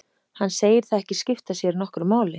Hann segir það ekki skipta sér nokkru máli.